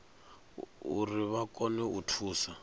uri vha kone u thusa